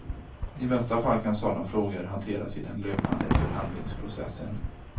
I bästa fall kan sådana frågor hanteras i den löpande förhandlingsprocessen.